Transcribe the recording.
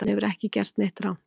Hann hefur ekki gert neitt rangt